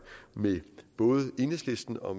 med både enhedslisten og